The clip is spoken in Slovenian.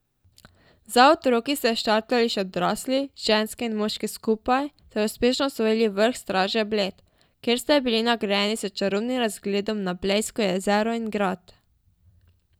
Za otroki ste štartali še odrasli, ženske in moški skupaj, ter uspešno osvojili vrh Straže Bled, kjer ste bili nagrajeni s čarobnim razgledom na blejsko jezero in grad.